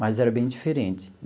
Mas era bem diferente.